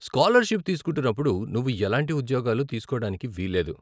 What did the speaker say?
Scholarship తీసుకుంటున్నప్పుడు నువ్వు ఎలాంటి ఉద్యోగాలు తీసుకోడానికి వీలు లేదు.